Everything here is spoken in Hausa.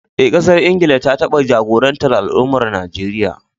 Eh, ƙasar Ingila ta taba jagorantar al’amuran Najeriya.